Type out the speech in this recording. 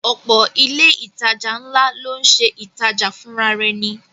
Ọ̀pọ̀ ilé ìtajà ńlá ló ń ṣe ìtajà fùnrarẹni